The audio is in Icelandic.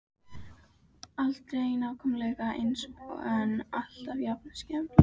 Aldrei nákvæmlega eins en alltaf jafn skelfilegur.